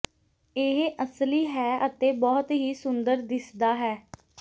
ਇਹ ਅਸਲੀ ਹੈ ਅਤੇ ਬਹੁਤ ਹੀ ਸੁੰਦਰ ਦਿਸਦਾ ਹੈ